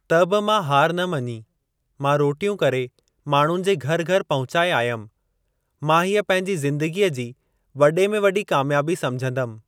त बि मां हार न मञी मां रोटियूं करे माण्हुनि जे घरु घरु पहुचाए आयमि, मां हीअ पंहिंजी ज़िंदगीअ जी वॾे में वॾी कामयाबी समिझंदुमि